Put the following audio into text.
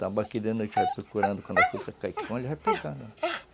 Tambaqui, a gente vai procurando, quando a fruta cai, ele vai pegando.